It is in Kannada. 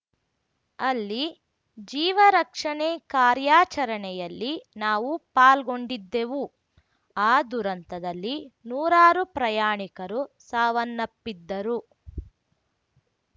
ಅಲ್ಲಿ ಜೀವರಕ್ಷಣೆ ಕಾರ್ಯಾಚರಣೆಯಲ್ಲಿ ನಾವು ಪಾಲ್ಗೊಂಡಿದ್ದೆವು ಆ ದುರಂತದಲ್ಲಿ ನೂರಾರು ಪ್ರಯಾಣಿಕರು ಸಾವನ್ನಪ್ಪಿದ್ದರು